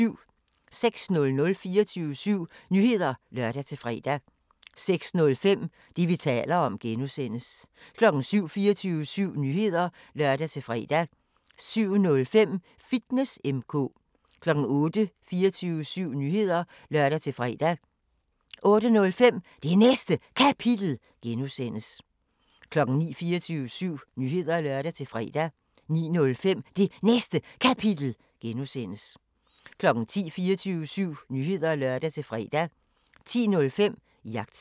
06:00: 24syv Nyheder (lør-fre) 06:05: Det, vi taler om (G) 07:00: 24syv Nyheder (lør-fre) 07:05: Fitness M/K 08:00: 24syv Nyheder (lør-fre) 08:05: Det Næste Kapitel (G) 09:00: 24syv Nyheder (lør-fre) 09:05: Det Næste Kapitel (G) 10:00: 24syv Nyheder (lør-fre) 10:05: Jagttegn